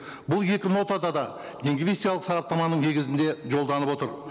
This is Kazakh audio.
бұл екі нотада да сараптаманың негізінде жолданып отыр